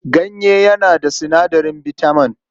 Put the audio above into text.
Ganye yana da sinadarin bitaman.